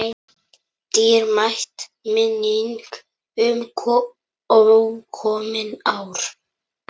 Dýrmæt minning um ókomin ár.